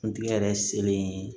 Kuntigi yɛrɛ selen